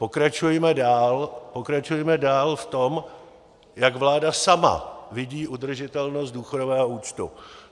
Pokračujme dál v tom, jak vláda sama vidí udržitelnost důchodového účtu.